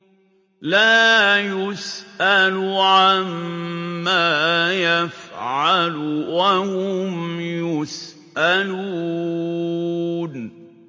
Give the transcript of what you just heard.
لَا يُسْأَلُ عَمَّا يَفْعَلُ وَهُمْ يُسْأَلُونَ